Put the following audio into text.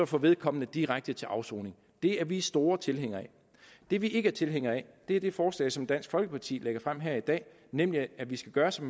får vedkommende direkte til afsoning det er vi store tilhængere af det vi ikke er tilhængere af er det forslag som dansk folkeparti lægger frem her i dag nemlig at vi skal gøre som